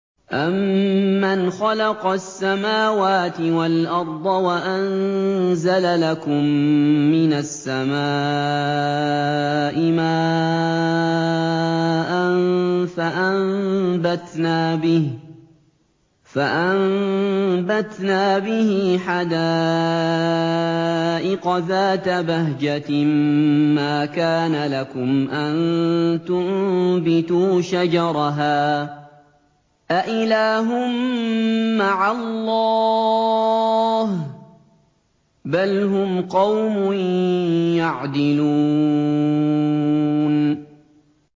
أَمَّنْ خَلَقَ السَّمَاوَاتِ وَالْأَرْضَ وَأَنزَلَ لَكُم مِّنَ السَّمَاءِ مَاءً فَأَنبَتْنَا بِهِ حَدَائِقَ ذَاتَ بَهْجَةٍ مَّا كَانَ لَكُمْ أَن تُنبِتُوا شَجَرَهَا ۗ أَإِلَٰهٌ مَّعَ اللَّهِ ۚ بَلْ هُمْ قَوْمٌ يَعْدِلُونَ